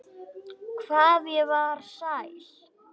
Hvað ég var sæl.